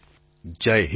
પ્રધાનમંત્રી જય હિન્દ